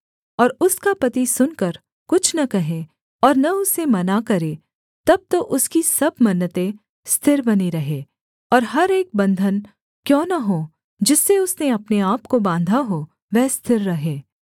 और उसका पति सुनकर कुछ न कहे और न उसे मना करे तब तो उसकी सब मन्नतें स्थिर बनी रहें और हर एक बन्धन क्यों न हो जिससे उसने अपने आपको बाँधा हो वह स्थिर रहे